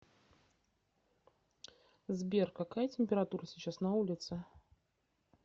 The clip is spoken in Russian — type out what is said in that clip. сбер какая температура сейчас на улице